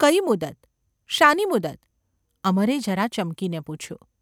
‘કઈ મુદત ? શાની મુદત ?’ અમરે જરા ચમકીને પૂછ્યું.